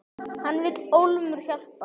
Hann vill ólmur hjálpa.